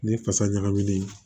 Ni fasa ɲagaminen ye